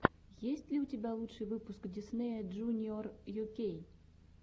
есть ли у тебя лучший выпуск диснея джуниор ю кей